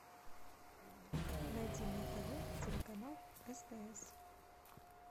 найди на тв телеканал стс